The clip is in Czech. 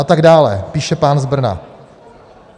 A tak dále, píše pán z Brna.